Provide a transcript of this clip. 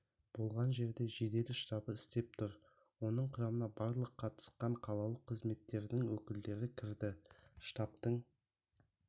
болған жерде жедел штабы істеп тұр оның құрамына барлық қатысқан қалалық қызметтердің өкілдері кірді штабтың